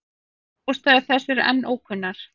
Ástæður þess eru enn ókunnar.